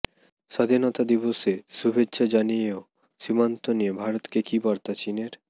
স্বাধীনতা দিবসে শুভেচ্ছা জানিয়েও সীমান্ত নিয়ে ভারতকে কি বার্তা চিনের